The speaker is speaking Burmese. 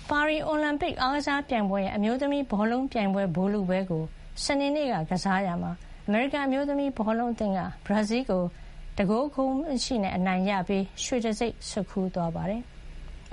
ပါရီအိုလံပစ်အားကစားပြိုင်ပွဲရဲ့ အမျိုးသမီး ဘောလုံးပြိုင်ပွဲ ဗိုလ်လုပွဲကို စနေနေ့က ကစားရာမှာ အမေရိကန် အမျိုးသမီးဘောလုံးအသင်းက ဘရာဇီးလ်ကို ၁-၀ ဂိုးနဲ့ အနိုင်ရရှိပြီး ရွှေတံဆိပ် ဆွတ်ခူးသွားပါတယ်။